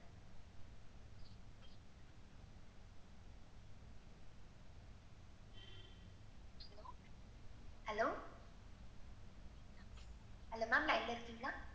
Hello, hello ma'am line ல இருக்கீங்களா?